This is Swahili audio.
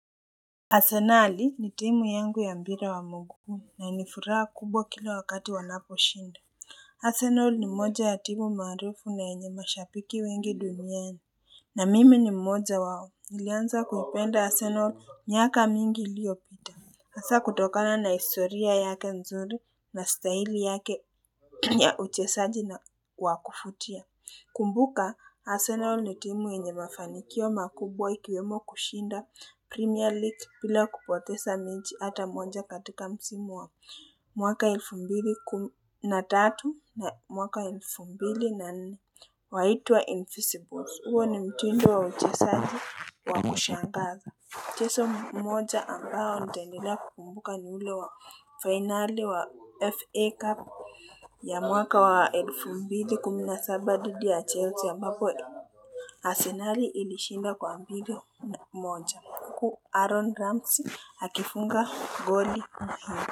Arsenal ni timu yangu ya mpira wa mguu na nifuraha kubwa kila wakati wanapo shinda Arsenal ni moja ya timu maarufu na yenye mashambiki wengi duniani na mimi ni mmoja wao nilianza kuhipenda Arsenal miaka mingi iliopita hasa kutokana na historia yake nzuri na stahili yake ya uchesaji na kwa kufutia Kumbuka Arsenal ni timu yenye mafanikio makubwa ikiyomo kushinda Premier League bila kupotesa mechi ata moja katika msimu wao mwaka elfu mbili na tatu na mwaka elfu mbili na nne waitwa Infeasibles. Uwo ni mtindo wa uchesaji wa kushangazi. Mchezo mmoja ambao nitaendelea kukumbuka ni ule wa finali wa FA Cup ya mwaka wa elfu mbili kumi na saba dhidi ya Chelsea ambapo Asenari ilishinda kwa mbili moja Huku Aaron Ramsey hakifunga goli na hiyo.